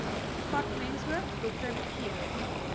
departementshoof dr g